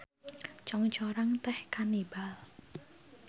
Congcorang teh kanibal.